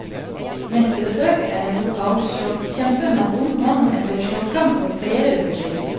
Neste besøk er en lokal slåsskjempe med vond hånd etter slåsskamp for flere uker siden.